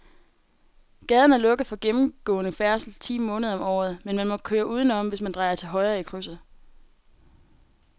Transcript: Gaden er lukket for gennemgående færdsel ti måneder om året, men man kan køre udenom, hvis man drejer til højre i krydset.